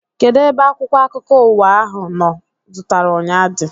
Kedụ ebe akwụkwọ akụkọ ụwa ahụ mụ zụtara ụnyaahụ dị?